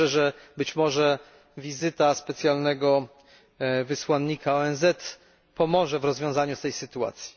Wierzę, że być może wizyta specjalnego wysłannika ONZ pomoże w rozwiązaniu sytuacji.